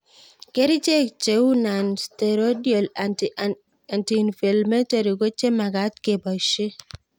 Kerichek cheu nonsteroidal anti inflammatory ko che magat kepoishe